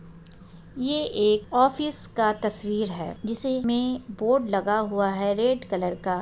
ये एक ऑफिस का तस्वीर है जिसे मे बोर्ड लगा हुआ है रेड कलर का--